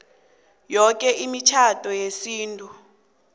yoke imitjhado yesintu